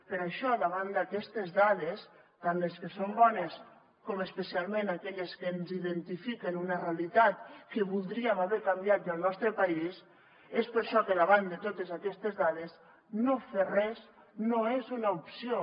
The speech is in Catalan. per això davant d’aquestes dades tant les que són bones com especialment aquelles que ens identifiquen una realitat que voldríem haver canviat ja al nostre país és per això que davant de totes aquestes dades no fer res no és una opció